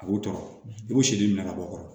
A b'o tɔɔrɔ i b'o siden minɛ ka bɔ yɔrɔ